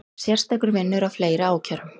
Sérstakur vinnur að fleiri ákærum